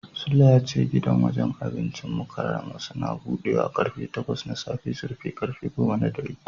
Sule ya ce gidan wajen abincin Mukarramah Suns budewa karfe takwas na safe su rufe karfe goma na dare.